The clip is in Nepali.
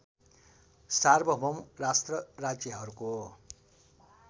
सार्वभौम राष्ट्र राज्यहरूको